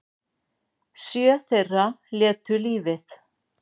Sjö þeirra létu lífið